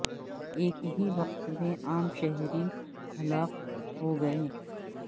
ایک ہی وقت میں عام شہری ہلاک ہو گئے